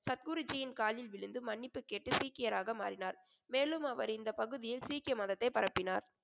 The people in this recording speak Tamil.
சத்குருஜியின் காலில் விழுந்து மன்னிப்பு கேட்டு சீக்கியராக மாறினார். மேலும் அவர் இந்தப் பகுதியில் சீக்கிய மதத்தைப் பரப்பினார் .